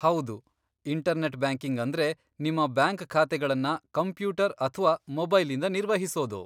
ಹೌದು, internet banking ಅಂದ್ರೆ ನಿಮ್ಮ ಬ್ಯಾಂಕ್ ಖಾತೆಗಳನ್ನ ಕಂಪ್ಯೂಟರ್ ಅಥ್ವಾ ಮೊಬೈಲಿಂದ ನಿರ್ವಹಿಸೋದು.